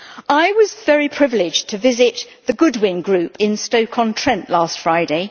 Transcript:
I was very privileged to visit the Goodwin Group in Stoke on Trent last Friday.